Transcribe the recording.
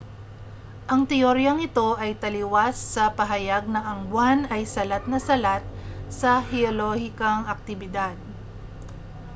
ang teoryang ito ay taliwas sa pahayag na ang buwan ay salat na salat sa heolohikang aktibidad